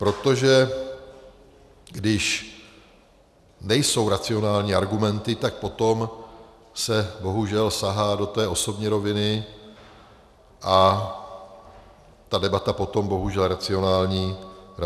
Protože když nejsou racionální argumenty, tak potom se bohužel sahá do té osobní roviny a ta debata potom bohužel racionální není.